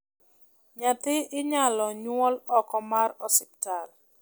nyathi inyalo nyuol oko mar osiptal